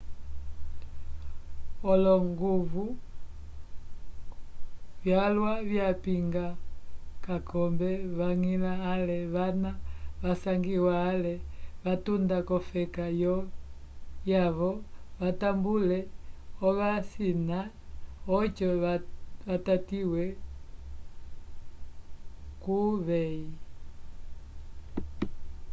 olonguvu vyalwa vyapinga k'akombe vañgila ale vana vasangiwa ale vatunda k'olofeka vyavo vatambule ovasina oco vatatiwe k'uveyi